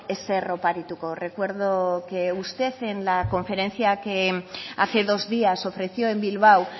ezer oparituko recuerdo que usted en la conferencia que hace dos días ofreció en bilbao